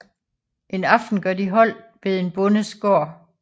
En aften gør de holdt ved en bondes gård